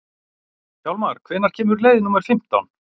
Hjálmar, hvenær kemur leið númer fimmtán?